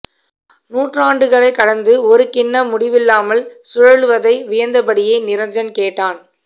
நூற்றாண்டுகளைக் கடந்து ஒரு கிண்ணம் முடிவில்லாமல் சுழலுவதை வியந்தபடியே நிரஞ்சன் கேட்டான்